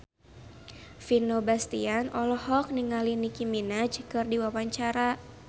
Vino Bastian olohok ningali Nicky Minaj keur diwawancara